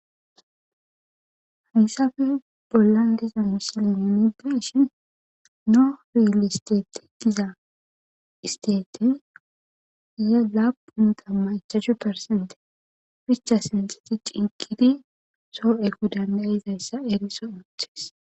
Hayssafe bollan diza misil imideshin noo filisteteqgiza isteete ye-lapunta machajchu persente ficha sinteti ciiqidi soo ekko dandayizayssa eriso oochthes.